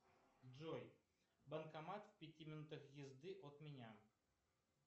джой банкомат в пяти минутах езды от меня